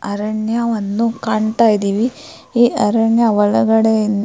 ಅರಣ್ಯವನ್ನು ಕಾಣತಾ ಇದೀವಿ ಈ ಅರಣ್ಯ ಒಳಗಡೆ ಇನ್ --